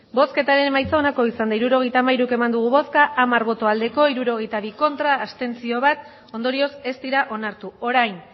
hirurogeita hamairu eman dugu bozka hamar bai hirurogeita bi ez bat abstentzio ondorioz ez dira onartu orain